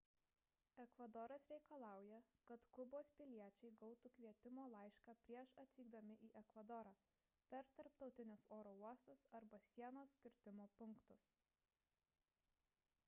ekvadoras reikalauja kad kubos piliečiai gautų kvietimo laišką prieš atvykdami į ekvadorą per tarptautinius oro uostus arba sienos kirtimo punktus